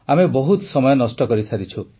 ଆମେ ବହୁତ ସମୟ ନଷ୍ଟ କରିସାରିଛୁ